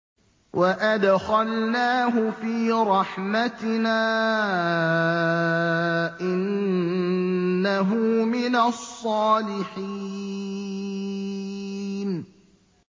وَأَدْخَلْنَاهُ فِي رَحْمَتِنَا ۖ إِنَّهُ مِنَ الصَّالِحِينَ